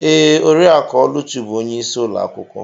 Ee, Oriakụ Oluchi bụ onye isi ulo akwukwo.